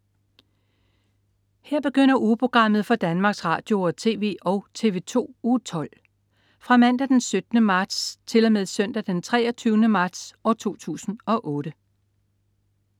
Her begynder ugeprogrammet for Danmarks Radio- og TV og TV2 Uge 12 Fra Mandag den 17. marts 2008 Til Søndag den 23. marts 2008